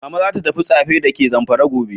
Mama zata tafi Tsafe dake zamfara gobe.